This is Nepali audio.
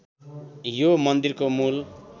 यो मन्दिरको मूल